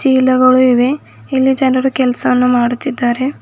ಚೀಲಗಳು ಇವೆ ಇಲ್ಲಿ ಜನರು ಕೆಲಸವನ್ನು ಮಾಡುತ್ತಿದ್ದಾರೆ.